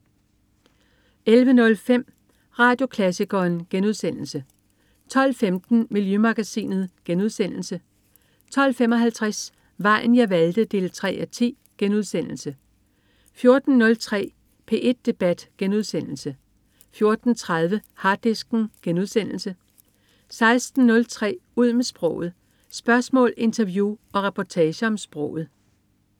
11.05 Radioklassikeren* 12.15 Miljømagasinet* 12.55 Vejen jeg valgte 3:10* 14.03 P1 debat* 14.30 Harddisken* 16.03 Ud med sproget. Spørgsmål, interview og reportager om sproget